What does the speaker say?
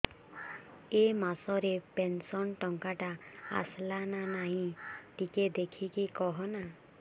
ଏ ମାସ ରେ ପେନସନ ଟଙ୍କା ଟା ଆସଲା ନା ନାଇଁ ଟିକେ ଦେଖିକି କହନା